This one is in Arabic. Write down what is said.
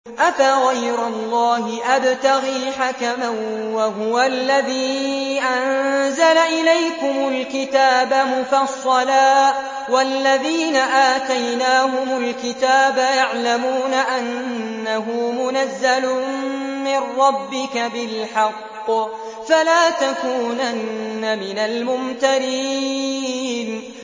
أَفَغَيْرَ اللَّهِ أَبْتَغِي حَكَمًا وَهُوَ الَّذِي أَنزَلَ إِلَيْكُمُ الْكِتَابَ مُفَصَّلًا ۚ وَالَّذِينَ آتَيْنَاهُمُ الْكِتَابَ يَعْلَمُونَ أَنَّهُ مُنَزَّلٌ مِّن رَّبِّكَ بِالْحَقِّ ۖ فَلَا تَكُونَنَّ مِنَ الْمُمْتَرِينَ